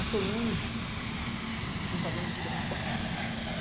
A Solange tinha um padrão de vida muito bacana, sabe?